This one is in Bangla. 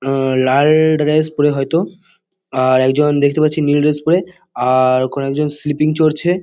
আ লাল-অ ড্রেস পরে হয়তো । আর একজন দেখতে পাচ্ছি নীল ড্রেস পরে । আর ওখানে একজন স্লিপিং চড়ছে।